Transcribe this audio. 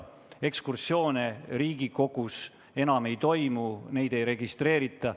Ekskursioone Riigikogus enam ei toimu, neid ei registreerita.